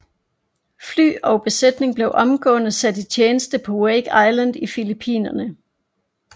Fly og besætning blev omgående sat i tjeneste på Wake Island og i Filippinerne